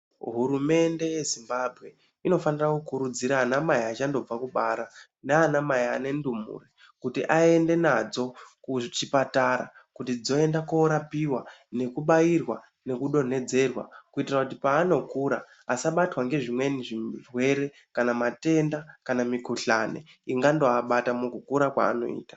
Hurumende yeZimbabwe inofanira kukurudzira ana mai achandobva kubara nana mai ane ntumbu kuti aende nadzo kuchipatara kuti dzoenda korapiwa, nekubairwa, nekudonhedzerwa kuitira kuti paanokura vasabatwa ngezvimweni zvirwere kana matenda, kana mikhuhlani ingandoabata mukukura kwaanoita.